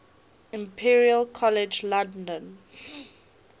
imperial college london